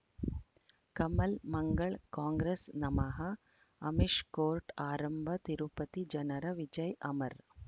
ಕಮಲ್ ಮಂಗಳ್ ಕಾಂಗ್ರೆಸ್ ನಮಃ ಅಮಿಷ್ ಕೋರ್ಟ್ ಆರಂಭ ತಿರುಪತಿ ಜನರ ವಿಜಯ್ ಅಮರ್